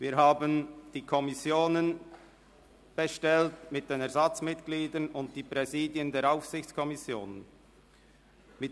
Wir haben die Kommissionen mit den Ersatzmitgliedern sowie die Präsidien der Aufsichtskommissionen bestellt.